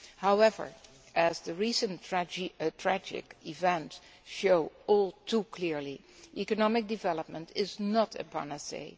However, as the recent tragic events show all too clearly, economic development is not a panacea.